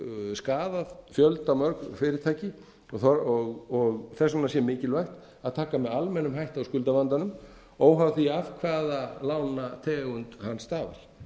skaðað fjöldamörg fyrirtæki þess vegna sé mikilvægt að taka með almennum hætti á skuldavandanum óháð því af hvaða lánategund hann stafar